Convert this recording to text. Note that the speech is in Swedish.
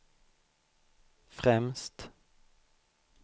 främst